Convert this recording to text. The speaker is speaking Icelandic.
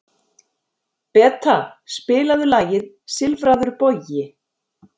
Beta, spilaðu lagið „Silfraður bogi“.